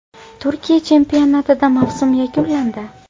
Turkiya chempionatida mavsum yakunlandi.